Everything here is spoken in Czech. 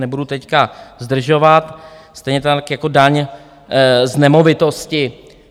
Nebudu teď zdržovat, stejně tak jako daň z nemovitosti.